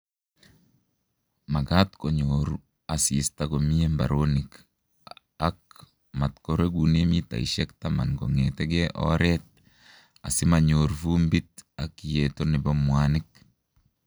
Makat konyoru asista komye mbaronik ak matkoregune mitaishek taman kong'ete oret asi manyor vumbit ak yeto nebo mwanik